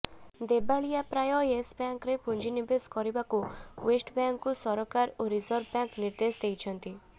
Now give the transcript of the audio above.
ଦେବାଳିଆ ପ୍ରାୟ ୟେସ୍ ବ୍ୟାଙ୍କରେ ପୁଞ୍ଜି ନିବେଶ କରିବାକୁ ଷ୍ଟେଟ୍ବ୍ୟାଙ୍କକୁ ସରକାର ଓ ରିଜର୍ଭବ୍ୟାଙ୍କ ନିର୍ଦେଶ ଦେଇଛନ୍ତି